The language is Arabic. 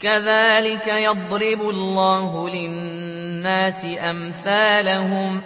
كَذَٰلِكَ يَضْرِبُ اللَّهُ لِلنَّاسِ أَمْثَالَهُمْ